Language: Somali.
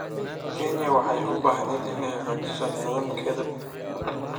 Kenya waxay u baahneyd inay hagaajiso nidaamkeeda doorashada.